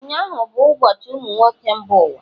ụnyahụ bụ ụbọchị ụmụ nwoke mba ụwa